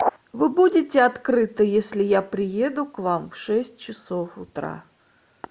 вы будете открыты если я приеду к вам в шесть часов утра